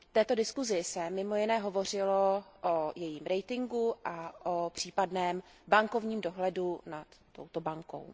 V této diskusi se mimo jiné hovořilo o jejím ratingu a o případném bankovním dohledu nad touto bankou.